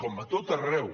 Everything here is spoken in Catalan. com a tot arreu